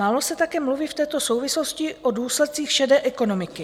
Málo se také mluví v této souvislosti o důsledcích šedé ekonomiky.